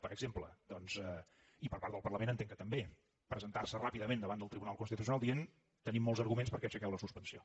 per exemple doncs i per part del parlament entenc que també presentarse ràpidament davant del tribunal constitucional dient tenim molts arguments perquè aixequeu la suspensió